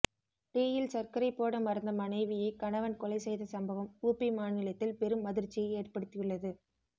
டியில் சர்க்கரை போட மறந்த மனைவியை கணவன் கொலை செய்த சம்பவம் உபி மாநிலத்தில் பெரும் அதிர்ச்சியை ஏற்படுத்தியுள்ளது